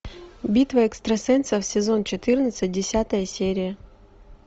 битва экстрасенсов сезон четырнадцать десятая серия